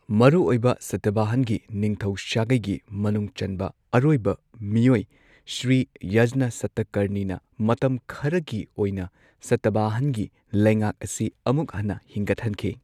ꯃꯔꯨꯑꯣꯏꯕ ꯁꯇꯕꯍꯥꯅꯒꯤ ꯅꯤꯡꯊꯧ ꯁꯥꯒꯩꯒꯤ ꯃꯅꯨꯡ ꯆꯟꯕ ꯑꯔꯣꯏꯕ ꯃꯤꯑꯣꯏ ꯁ꯭ꯔꯤ ꯌꯖꯅꯥ ꯁꯇꯚꯍꯥꯅꯒꯤ ꯃꯇꯝ ꯈꯔꯒꯤ ꯑꯣꯏꯅ ꯁꯇꯕꯍꯥꯅꯒꯤ ꯂꯩꯉꯥꯛ ꯑꯁꯤ ꯑꯃꯨꯛ ꯍꯟꯅ ꯍꯤꯡꯒꯠꯍꯟꯈꯤ꯫